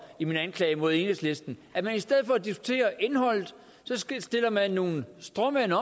i min anklage mod enhedslisten at man i stedet for at diskutere indholdet stiller nogle stråmænd